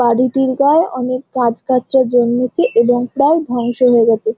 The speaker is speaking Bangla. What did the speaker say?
বাড়িটির গায়ে অনেক গাছগাছড়া জন্মেছে এবং প্রায় ধ্বংস হয়ে গেছে।